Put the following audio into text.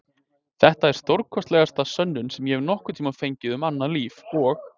Þetta er stórkostlegasta sönnun sem ég hef nokkurn tímann fengið um annað líf og